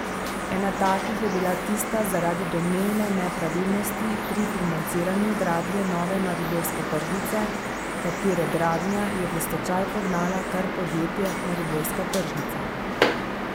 Ena takih je bila tista zaradi domnevne nepravilnosti pri financiranju gradnje nove mariborske tržnice, katere gradnja je v stečaj pognala kar podjetje Mariborska tržnica.